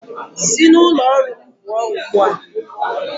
Si n'ụlọ ọrụ m pụọ ugbu a!